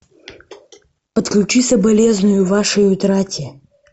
отключи соболезную вашей утрате